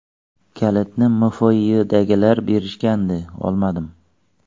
Kalitni MFYdagilar berishgandi, olmadim.